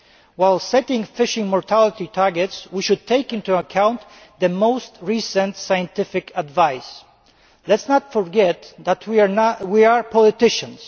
While setting fishing mortality targets, we should also take into account the most recent scientific advice. Let us not forget that we are politicians